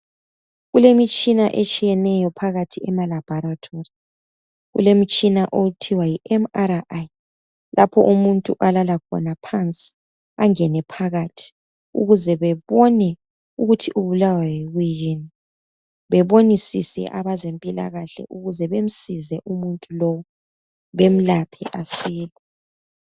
Kulemitshina etshiyeneyo phakathi emaLaboratory kulomtshina okuthiwa yiMRI lapho omuntu olala khona phansi angene phakathi ukuze bebone ukuthi ubulawa yikuyini, bebonisise abezempilakahle ukuze bemsize umuntu lo balaphe asile.